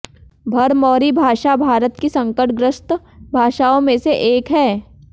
भरमौरी भाषा भारत की संकटग्रस्त भाषाओं में से एक है